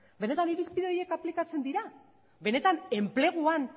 benetan irizpide horiek aplikatzen dira benetan enpleguan